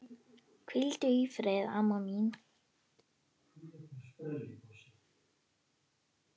Hvíldu í friði, amma mín.